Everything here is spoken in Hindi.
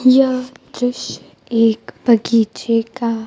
यह दृश्य एक बगीचे का--